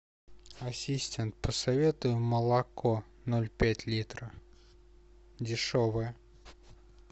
ассистент посоветуй молоко ноль пять литра дешевое